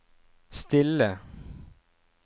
stille